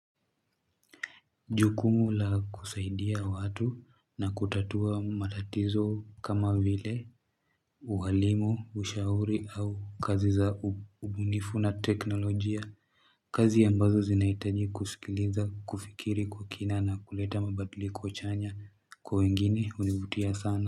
Jukumu la kusaidia watu na kutatua matatizo kama vile uhalimu ushauri au kazi za ubunifu na teknolojia kazi ambazo zinahitaji kusikiliza kufikiri kwa kina na kuleta mabadiliko chanya kwa wengine hunivutia sana.